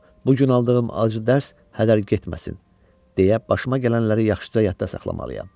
Bu gün aldığım acı dərs hədər getməsin, deyə başıma gələnləri yaxşıca yadda saxlamalıyam.